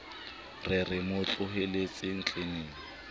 re re mo tlohelletseng tleneng